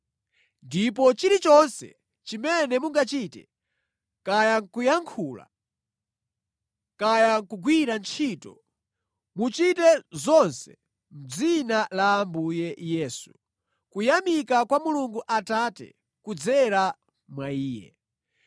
Ndipo chilichonse chimene mungachite, kaya nʼkuyankhula, kaya nʼkugwira ntchito, muchite zonse mʼdzina la Ambuye Yesu, kuyamika kwa Mulungu Atate kudzera mwa Iye.